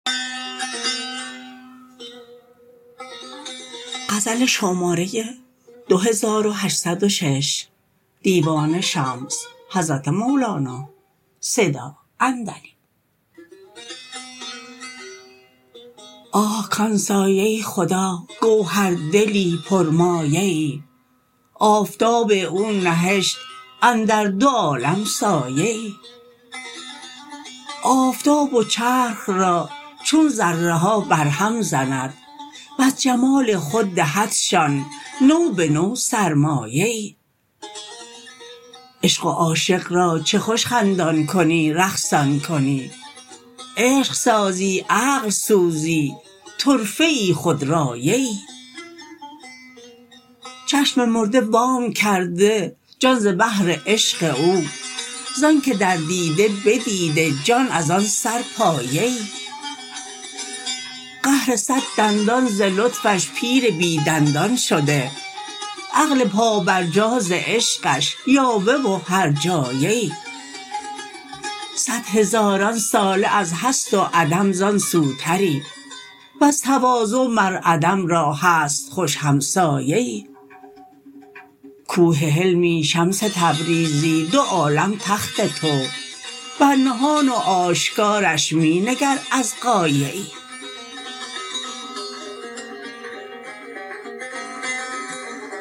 آه کان سایه خدا گوهردلی پرمایه ای آفتاب او نهشت اندر دو عالم سایه ای آفتاب و چرخ را چون ذره ها برهم زند وز جمال خود دهدشان نو به نو سرمایه ای عشق و عاشق را چه خوش خندان کنی رقصان کنی عشق سازی عقل سوزی طرفه ای خودرایه ای چشم مرده وام کرده جان ز بهر عشق او ز آنک در دیده بدیده جان از آن سر پایه ای قهر صد دندان ز لطفش پیر بی دندان شده عقل پابرجا ز عشقش یاوه و هرجایه ای صد هزاران ساله از هست و عدم زان سوتری وز تواضع مر عدم را هست خوش همسایه ای کوه حلمی شمس تبریزی دو عالم تخت تو بر نهان و آشکارش می نگر از قایه ای